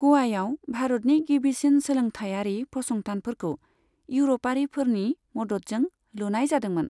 ग'वायाव भारतनि गिबिसिन सोलोंथाइयारि फसंथानफोरखौ इउर'पारिफोरनि मददजों लुनाय जादोंमोन।